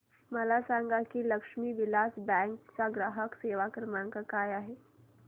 मला सांगा की लक्ष्मी विलास बँक चा ग्राहक सेवा क्रमांक काय आहे